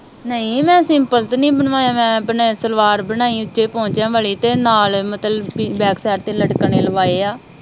ਨਹੀਂ ਮੈ ਸਿੰਪਲ ਤੇ ਨੀ ਬਣਵਾਇਆ ਮੈ ਆਪਣਾ ਸਲਵਾਰ ਬਣਵਾਈ ਉਚੇਆ ਵਾਲੀ ਤੇ ਨਾਲ ਮਤਲਬ ਕਿ ਬੈੱਕ ਸਾਈਡ ਤੇ ਲਟਕਣ ਲਵਾਏ ਆ